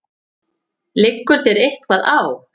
Liggur þér eitthvað á?